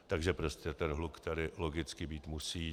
Takže prostě ten hluk tady logicky být musí.